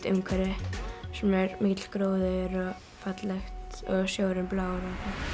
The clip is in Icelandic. umhverfi þar sem er mikill gróður og sjórinn er blár